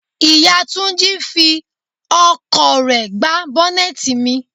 Ìyá Túnjí fí ọkọ̀ rẹ gbá bọ́nẹ́tì mi.